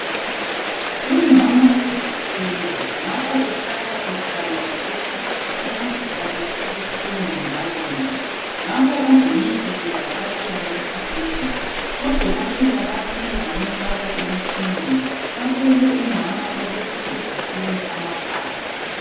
Umama uzithwele ngapho uhlala ekhala ngokuthi isisu sakhe sibuhlungu njalonje ngakho ugcine esevakatshela esibhedlela odokotela bafike bamufaka emitshineni batshele Umama ukuthi uzithwele amaphahla